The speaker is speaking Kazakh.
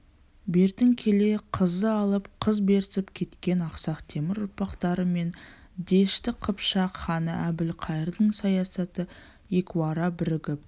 бертін келе қыз алып қыз берісіп кеткен ақсақ темір ұрпақтары мен дәшті қыпшақ ханы әбілқайырдың саясаты екеуара бірігіп